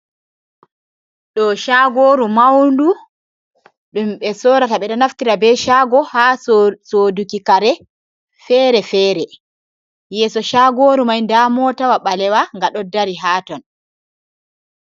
Ɗo shagoru maundu ɗum ɓe sorata. Ɓeɗo naftira be shago ha soduki kare fere-fere. Yeeso shagoru mai nda motawa ɓalewa nga ɗo dari ha ton.